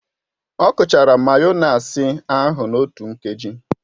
O kuchara mayonasị ahu n'otu ngaji